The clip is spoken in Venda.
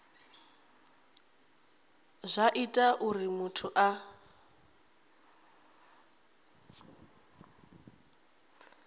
zwa ita uri muthu a